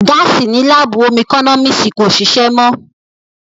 Gáàsì ní láàbù ómú ẹkọ́nọ́mísì kò ṣìṣé mọ́